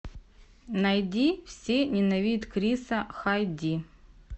найди все ненавидят криса ха ди